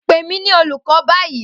Pe mi ni awọn olukọ bayi!